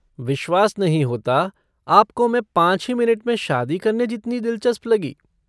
विश्वास नहीं होता आपको मैं पाँच ही मिनट में शादी करने जितनी दिलचस्प लगी।